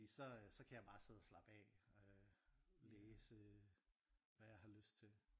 Fordi så øh så kan jeg bare sidde og slappe af øh læse hvad jeg har lyst til